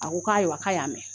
A ko k'ayiwaa k'a y'a mɛn